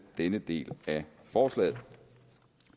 denne del af forslaget